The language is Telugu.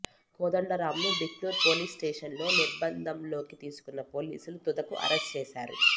కోదండరాం ను బిక్నూరు పోలీసు స్టేషన్ లో నిర్బందంలోకి తీసుకున్న పోలీసులు తుదకు అరెస్టు చేశారు